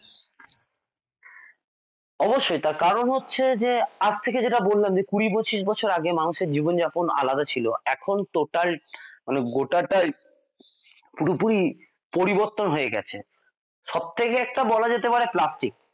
অবশ্যই তার কারণ হচ্ছে যে আজকে যেটা বললাম যে কুড়ি পঁচিশ বছর আগে মানুষের জীবনযাপন আলাদা ছিল এখন তো total মানে গোটাটার পুরোপুরি পরিবর্তন হয়ে গেছে সবথেকে একটা বলা যেতে পারে plastic